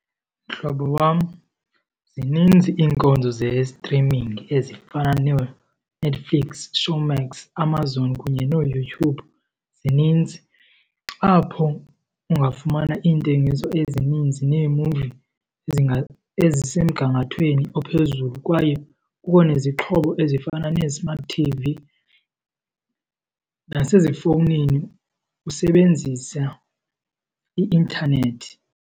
Mhlobo wam, zininzi iinkonzo ze-streaming ezifana nooNetflix, Showmax, Amazon kunye nooYouTube, zininzi. Apho ungafumana iintengiso ezininzi neemuvi ezisemgangathweni ophezulu kwaye kukho nezixhobo ezifana nee-smart T_V, nasezifowunini usebenzisa i-intanethi.